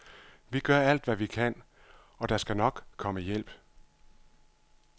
Vi gør alt, hvad vi kan, og der skal nok komme hjælp.